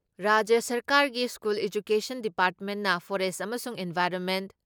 ꯔꯥꯖ꯭ꯌ ꯁꯔꯀꯥꯔꯒꯤ school education ꯗꯤꯄꯥꯔꯠꯃꯦꯟꯅ ꯐꯣꯔꯦꯁ ꯑꯃꯁꯨꯡ ꯏꯟꯚꯥꯏꯔꯣꯟꯃꯦꯟ